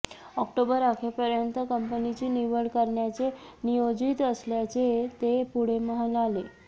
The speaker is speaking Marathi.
ऑक्टोबर अखेपर्यंत कंपनीची निवड करण्याचे नियोजित असल्याचे ते पुढे म्हणाले